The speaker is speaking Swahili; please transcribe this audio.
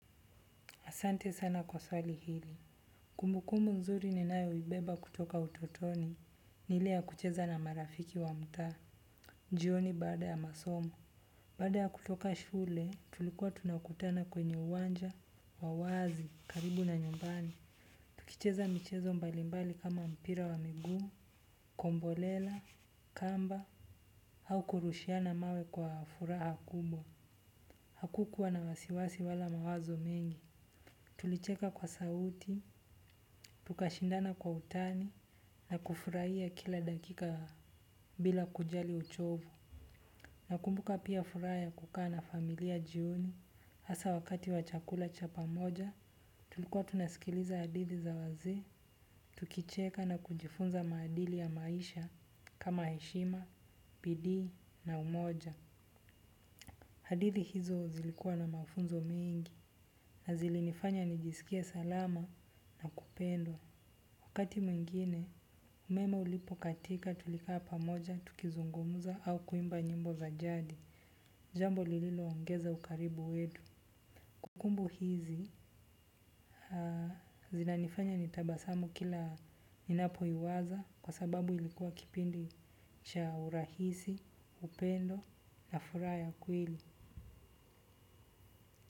Asante sana kwa swali hili. Kumbukumu nzuri ninayoibeba kutoka utotoni. Ni ile ya kucheza na marafiki wa mtaa. Jioni baada ya masomo. Baada ya kutoka shule, tulikuwa tunakutana kwenye uwanja, wa wazi, karibu na nyumbani. Kucheza michezo mbalimbali kama mpira wa miguu, kombolela, kamba, au kurushia na mawe kwa furaha kubwa. Hakukuwa na wasiwasi wala mawazo mengi. Tulicheka kwa sauti, tukashindana kwa utani, na kufurahia kila dakika bila kujali uchovu. Nakumbuka pia furaha ya kukaa na familia jioni, hasa wakati wa chakula cha pamoja, tulikuwa tunasikiliza hadithi za wazee, tukicheka na kujifunza maadili ya maisha kama heshima, bidii na umoja. Hadithi hizo zilikua na mafunzo mengi, na zilinifanya nijisikie salama na kupendwa. Wakati mwingine umeme ulipo katika tulika hapa moja tukizungumuza au kuimba nyimbo za jadi. Jambo lililo ongeza ukaribu wetu kumbukumbu hizi zinanifanya nitabasamu kila ninapoiwaza kwa sababu ilikuwa kipindi cha urahisi upendo na furaha ya kweli.